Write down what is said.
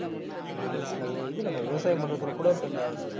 ஆமா இப்ப இந்த வே~ இது நம்ம விவசாயம் பண்றதுல கூட இப்ப இந்த